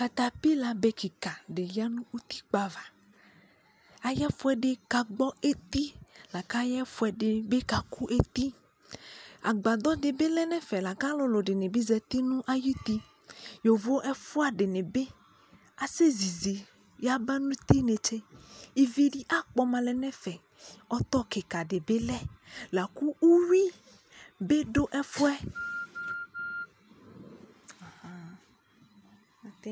katapila bɛ kikaa di yanʋ ʋtikpa aɣa ayi ɛfʋɛdi kagbɔ ɛti lakʋ ayɛ ɛfʋɛdi bi kakʋ ɛti, agbadɔ di bi lɛnʋ ɛfɛ lakʋ alʋɛdini bi zati nʋ ayiti, yɔvɔ ɛƒʋa dinibi asɛ ziizi yaba nʋ ʋti nɛkyɛ, ivi di akpɔma lɛ nʋ ɛfɛ, ɔtɔ kikaa di bi lɛ, lakʋ ʋwi bi dʋ ɛfʋɛ